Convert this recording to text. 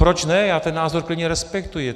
Proč ne, já ten názor klidně respektuji.